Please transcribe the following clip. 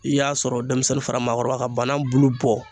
I y'a sɔrɔ denmisɛnnin fara maakɔrɔba ka banan bulu bɔ